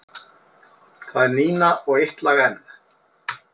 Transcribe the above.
Það er Nína og Eitt lag enn.